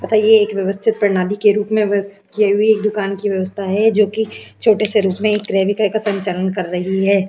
तथा ये व्यवस्थित प्रणाली के रूप में व्यवस्थित किये हुए एक दुकान की व्यवस्था है जोकि छोटे रूप में क्रय विक्रय का संचालन कर रही है।